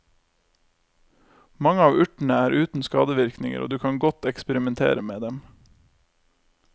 Mange av urtene er uten skadevirkninger, og du kan godt eksperimentere med dem.